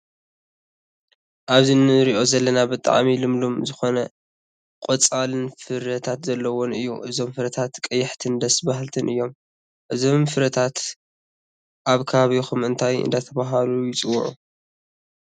ኣብዚ እንርእዩ ዘለና ብጣዕሚ ልምሉም ዝኮነ ቆፅልን ፍረታት ዘለውዎን እዩ። እዞም ፍረታት ቀያሕትን ደስ ባሃልትን እዮም። እዞም ፍረታት ኣብ ከባቢኩም እንታይ እንዳተባሃሉ ይፅውዑ?